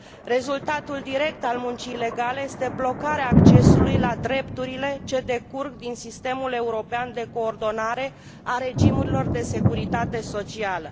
Rezultatul direct al muncii ilegale este blocarea accesului la drepturile ce decurg din sistemul european de coordonare a regimurilor de securitate socială.